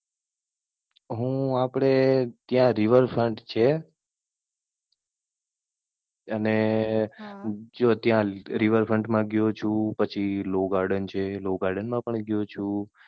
હું આપડે ત્યાં Riverfront છે. અને જો ત્યાં Riverfront મા ગ્યો છુ, પછી Law garden છે. Law garden પણ ગ્યો છુ.